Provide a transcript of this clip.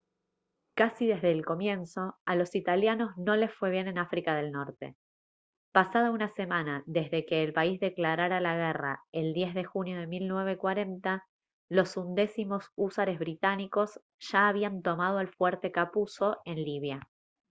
casi desde el comienzo a los italianos no les fue bien en áfrica del norte pasada una semana desde que el país declarara la guerra el 10 de junio de 1940 los undécimos húsares británicos ya habían tomado el fuerte capuzzo en libia